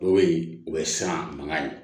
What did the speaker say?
Dɔw bɛ yen o bɛ siran mankan ye